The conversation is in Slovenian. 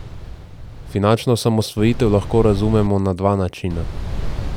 Finančno osamosvojitev lahko razumemo na dva načina.